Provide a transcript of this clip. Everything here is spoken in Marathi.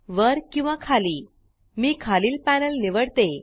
वर किंवा खाली मी खालील पॅनल निवडते